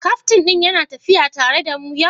Kaftin ɗin yana tafiya tare da mu yau?